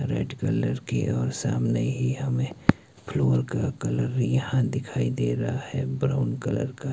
Red colour की और सामने ही हमें फ्लोर का कलर भी यहां दिखाई दे रहा है ब्राउन कलर का।